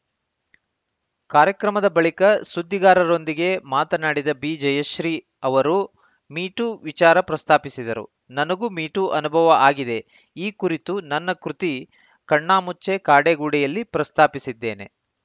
ಕಾರ್ಯಕ್ರಮದ ಬಳಿಕ ಸುದ್ದಿಗಾರರೊಂದಿಗೆ ಮಾತನಾಡಿದ ಬಿಜಯಶ್ರೀ ಅವರು ಮೀ ಟೂ ವಿಚಾರ ಪ್ರಸ್ತಾಪಿಸಿದರು ನನಗೂ ಮೀ ಟೂ ಅನುಭವ ಆಗಿದೆ ಈ ಕುರಿತು ನನ್ನ ಕೃತಿ ಕಣ್ಣಾಮುಚ್ಚೆ ಕಾಡೆ ಗೂಡೆಯಲ್ಲಿ ಪ್ರಸ್ತಾಪಿಸಿದ್ದೇನೆ